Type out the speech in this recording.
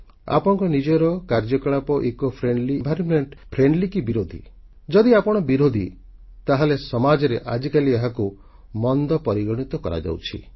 ଆପଣଙ୍କ ନିଜର କାର୍ଯ୍ୟକଳାପ ପରିବେଶଧର୍ମୀ ନା ଏହାର ବିରୋଧୀ ଯଦି ଆପଣ ବିରୋଧୀ ତାହେଲେ ସମାଜରେ ଆଜିକାଲି ଏହାକୁ ମନ୍ଦ ପରିଗଣିତ କରାଯାଉଛି